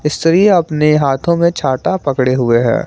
स्त्री अपने हाथों में छाता पड़े हुए हैं।